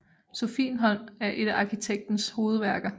Sophienholm er et af arkitektens hovedværker